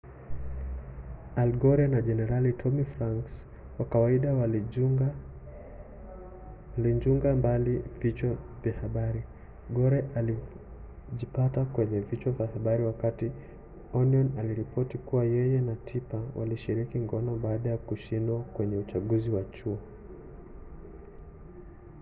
al gore na jenerali tommy franks kwa kawaida walinjuga mbali vichwa vya habari gore alijipata kwenye vichwa vya habari wakati onion aliripoti kuwa yeye na tipper walishiriki ngono baada ya kushindwa kwenye uchaguzi wa chuo